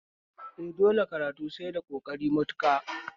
Eh, dole karatu sai da ƙoƙari matuƙa